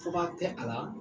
Fɔba tɛ a la